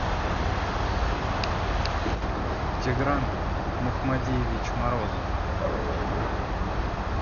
тигран махмадиевич морозов